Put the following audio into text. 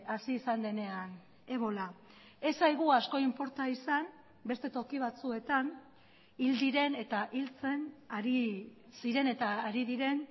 hasi izan denean ebola ez zaigu asko inporta izan beste toki batzuetan hil diren eta hiltzen ari ziren eta ari diren